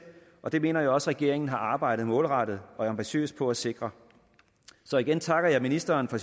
og det mener jeg også regeringen har arbejdet målrettet og ambitiøst på at sikre så igen takker jeg ministeren for